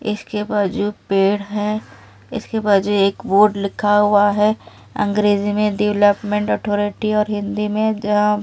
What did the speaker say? इसके बाद जो पेड़ है इसके बाद जो एक बोर्ड लिखा हुआ है अंग्रेजी में डेवलपमेंट अथॉरिटी और हिंदी में--